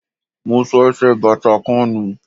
Mo sọ ẹsẹ̀ bàtà kan nù.